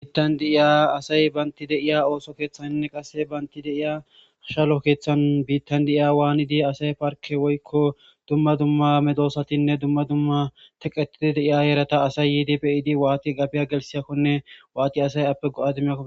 biittan deiya asay baynti deiya ooso keeththannne qasse baynti deiya hashalo keeththan biittan de7iya waanidi asay parke woykko dumma dumma medoosatinne dumma dumma teqetidi deiya eerata asay yiidi beyidi waati gabiya gelsiyakkone waati asay appe go7ademako